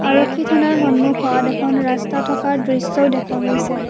আৰক্ষী থানাৰ সন্মুখত এখন ৰাস্তা থকা দৃশ্যও দেখা গৈছে।